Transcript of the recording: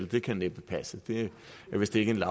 det kan næppe passe det er vist ikke en